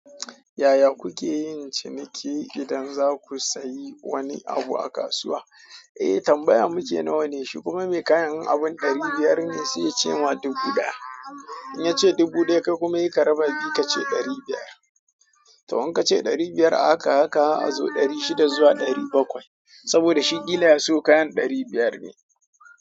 Yaya kuke yin ciniki idan za ku sayi wani abu a kasuwa? Eh tambaya muke nawa ne? Shi kuma mai kayan in abun ɗari biyar ne sai ya ce ma dubu ɗaya. In ya ce dubu ɗaya kai kuma sai ka raba biyu ka ce ɗari biyar. To in ka ce ɗari biyar a haka a haka har a zo ɗari shida zuwa ɗari bakwai. Saboda shi ƙila ya siyo kayan ɗari biyar ne.